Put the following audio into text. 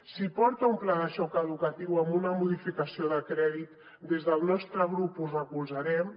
si porta un pla de xoc educatiu amb una modificació de crèdit des del nostre grup ho recolzarem